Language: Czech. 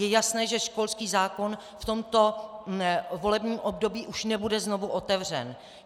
Je jasné, že školský zákon v tomto volebním období už nebude znovu otevřen.